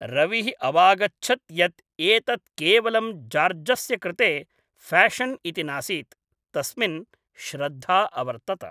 रविः अवागच्छत् यत् एतत् केवलं जार्जस्य कृते फ़ैशन् इति नासीत्, तस्मिन् श्रद्धा अवर्तत।